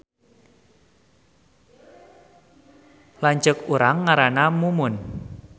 Lanceuk urang ngaranna Mumun